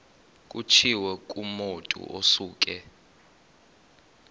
kutshiwo kumotu osuke